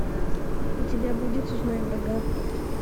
у тебя будет узнай врага